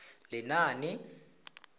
lenaane